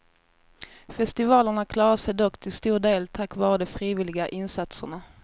Festivalerna klarar sig dock till stor del tack vare de frivilliga insatserna.